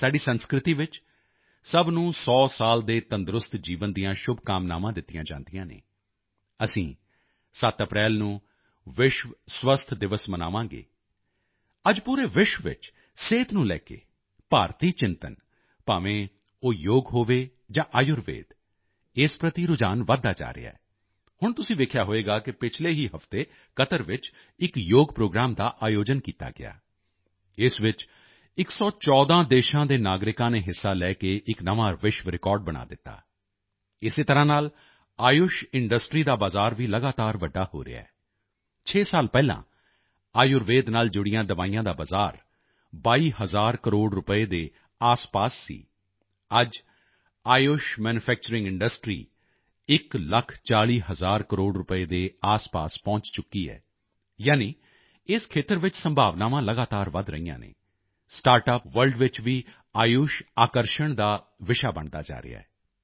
ਸਾਡੀ ਸੰਸਕ੍ਰਿਤੀ ਵਿੱਚ ਸਭ ਨੂੰ 100 ਸਾਲ ਦੇ ਤੰਦਰੁਸਤ ਜੀਵਨ ਦੀਆਂ ਸ਼ੁਭਕਾਮਨਾਵਾਂ ਦਿੱਤੀਆਂ ਜਾਂਦੀਆਂ ਹਨ ਅਸੀਂ 7 ਅਪ੍ਰੈਲ ਨੂੰ ਵਿਸ਼ਵ ਸਿਹਤ ਦਿਵਸ ਮਨਾਵਾਂਗੇ ਅੱਜ ਪੂਰੇ ਵਿਸ਼ਵ ਵਿੱਚ ਸਿਹਤ ਨੂੰ ਲੈ ਕੇ ਭਾਰਤੀ ਚਿੰਤਨ ਭਾਵੇਂ ਉਹ ਯੋਗ ਹੋਵੇ ਜਾਂ ਆਯੁਰਵੇਦ ਇਸ ਪ੍ਰਤੀ ਰੁਝਾਨ ਵਧਦਾ ਜਾ ਰਿਹਾ ਹੈ ਹੁਣ ਤੁਸੀਂ ਦੇਖਿਆ ਹੋਵੇਗਾ ਕਿ ਪਿਛਲੇ ਹੀ ਹਫ਼ਤੇ ਕਤਰ ਵਿੱਚ ਇੱਕ ਯੋਗ ਪ੍ਰੋਗਰਾਮ ਦਾ ਆਯੋਜਨ ਕੀਤਾ ਗਿਆ ਇਸ ਵਿੱਚ 114 ਦੇਸ਼ਾਂ ਦੇ ਨਾਗਰਿਕਾਂ ਨੇ ਹਿੱਸਾ ਲੈ ਕੇ ਇੱਕ ਨਵਾਂ ਵਿਸ਼ਵ ਰਿਕਾਰਡ ਬਣਾ ਦਿੱਤਾ ਇਸੇ ਤਰ੍ਹਾਂ ਨਾਲ ਆਯੁਸ਼ ਇੰਡਸਟ੍ਰੀ ਦਾ ਬਜ਼ਾਰ ਵੀ ਲਗਾਤਾਰ ਵੱਡਾ ਹੋ ਰਿਹਾ ਹੈ 6 ਸਾਲ ਪਹਿਲਾਂ ਆਯੁਰਵੇਦ ਨਾਲ ਜੁੜੀਆਂ ਦਵਾਈਆਂ ਦਾ ਬਜ਼ਾਰ 22 ਹਜ਼ਾਰ ਕਰੋੜ ਰੁਪਏ ਦੇ ਆਸਪਾਸ ਸੀ ਅੱਜ ਆਯੁਸ਼ ਮੈਨੂਫੈਕਚਰਿੰਗ ਇੰਡਸਟ੍ਰੀ ਇੱਕ ਲੱਖ 40 ਹਜ਼ਾਰ ਕਰੋੜ ਰੁਪਏ ਦੇ ਆਸਪਾਸ ਪਹੁੰਚ ਚੁੱਕੀ ਹੈ ਯਾਨੀ ਇਸ ਖੇਤਰ ਵਿੱਚ ਸੰਭਾਵਨਾਵਾਂ ਲਗਾਤਾਰ ਵਧ ਰਹੀਆਂ ਹਨ ਸਟਾਰਟਅਪ ਵਰਲਡ ਵਿੱਚ ਵੀ ਆਯੁਸ਼ ਆਕਰਸ਼ਣ ਦਾ ਵਿਸ਼ਾ ਬਣਦਾ ਜਾ ਰਿਹਾ ਹੈ